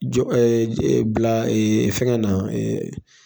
jɔ Bila fɛnkɛ na